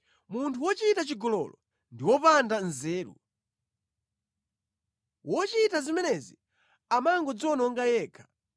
Munthu wochita chigololo ndi wopanda nzeru. Wochita zimenezi amangodziwononga yekha.